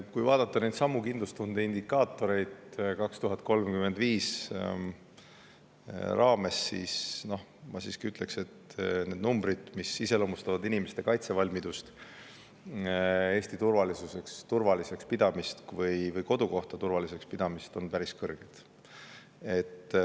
Kui vaadata neidsamu kindlustunde indikaatoreid "Eesti 2035" raames, siis ma ütleks, et need numbrid, mis iseloomustavad inimeste kaitsevalmidust, Eesti turvaliseks pidamist või kodukoha turvaliseks pidamist, on päris kõrged.